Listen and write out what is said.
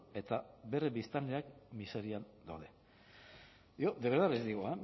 eta bere biztanleak miserian daude yo de verdad les digo